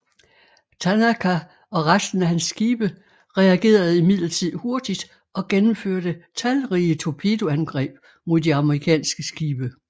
Tanaka og resten af hans skibe reagerede imidlertid hurtigt og gennemførte talrige torpedoangreb mod de amerikanske skibe